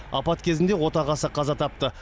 апат кезінде отағасы қаза тапты